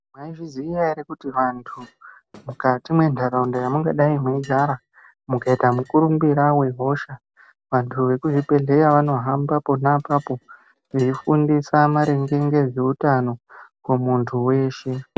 Mwaizviziya ere kuti vantu, mukati mwenharaunda yamungadai mweigara, mukaita mukurumbira wehosha, vantu vekuzvibhedhleya vanohamba ona apapo, veifundisa maringe ngezveutano, kumuntu weshe.